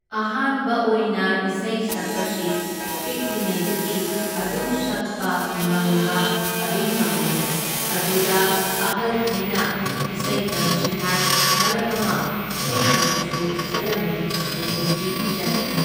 ꯑꯍꯥꯟꯕ ꯑꯣꯏꯅ ꯏꯁꯩ ꯁꯛꯄꯁꯤ ꯄꯤꯛꯂꯤꯉꯩꯗꯒꯤ ꯑꯗꯨꯝ ꯁꯛꯄ ꯉꯪꯕ ꯑꯗꯨꯝ ꯉꯝꯃꯤ, ꯑꯗꯨꯗ ꯑꯍꯜꯈꯩꯅ ꯏꯁꯩ ꯇꯝꯁꯤ ꯍꯥꯏ , ꯃꯔꯛ ꯑꯃ ꯢꯁꯩ ꯇꯝꯕꯁꯨ ꯆꯠꯂꯝꯃꯤ, ꯍꯧꯖꯤꯛꯇꯤ ꯆꯠꯇ꯭ꯔꯦ꯫